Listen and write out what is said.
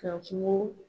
Ka kungo